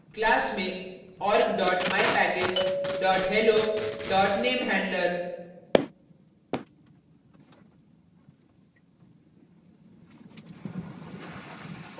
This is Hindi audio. class में org mypackage hello namehandler